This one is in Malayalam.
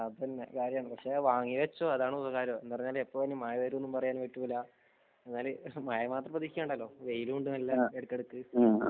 അതന്നെ കാര്യം പക്ഷെ വാങ്ങിവച്ചോ അതാണ് ഉപകാരം എപ്പോഴാണ് ഇനി മഴ വരുന്നത് എന്ന് പറയാൻ പറ്റൂല. മഴ മാത്രം പ്രതീക്ഷിക്കേണ്ടല്ലോ വെയിലും ഉണ്ട് ഇടക്കിടക്ക്